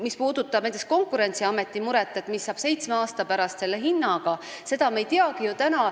Mis puudutab Konkurentsiameti muret, mis saab seitsme aasta pärast hinnaga, siis seda me täna ju ei teagi.